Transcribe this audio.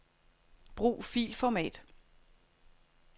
Brug filformat.